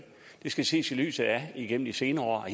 det skal ses i lyset af at igennem de senere